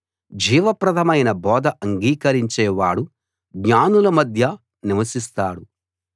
జీవప్రదమైన బోధ అంగీకరించేవాడు జ్ఞానుల మధ్య నివసిస్తాడు